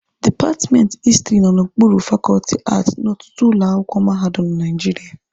Dipatmenti Histiri nọ n'okpuru fakọọtị Aati n'ọtụtụ ụlọ akwụkwọ mahadum na Naijiria